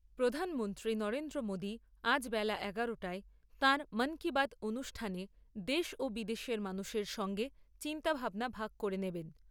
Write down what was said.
প্রধানমন্ত্রী নরেন্দ্র মোদী আজ বেলা এগারোটায় তাঁর 'মন কি বাত' অনুষ্ঠানে দেশ ও বিদেশের মানুষের সঙ্গে চিন্তাভাবনা ভাগ করে নেবেন।